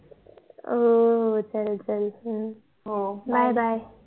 हो हो चल चल bye bye